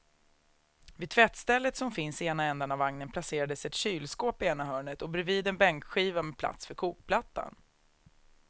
Vid tvättstället som finns i ena ändan av vagnen placerades ett kylskåp i ena hörnet och bredvid en bänkskiva med plats för kokplattan.